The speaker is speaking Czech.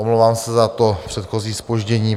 Omlouvám se za to předchozí zpoždění.